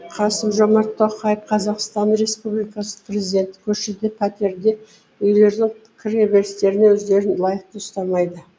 қасым жомарт тоқаев қазақстан республикасының президенті көшеде пәтерде үйлердің кіре берістерінде өздерін лайықты ұстамайды